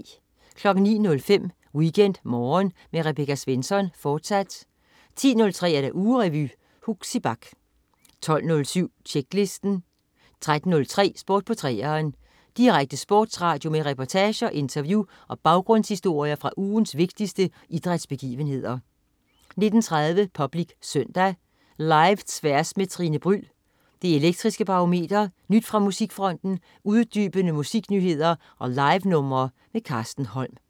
09.05 WeekendMorgen med Rebecca Svensson, fortsat 10.03 Ugerevy. Huxi Bach 12.07 Tjeklisten 13.03 Sport på 3'eren. Direkte sportsradio med reportager, interview og baggrundshistorier fra ugens vigtigste idrætsbegivenheder 19.30 Public Søndag. Live-Tværs med Tine Bryld, Det Elektriske Barometer, nyt fra musikfronten, uddybende musiknyheder og livenumre. Carsten Holm